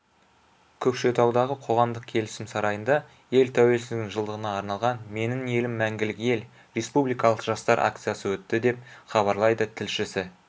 көкшетаудағы қоғамдық келісім сарайында ел тәуелсіздігінің жылдығына арналған менің елім мәңгілік ел республикалық жастар акциясы өтті деп хабарлайды тілшісі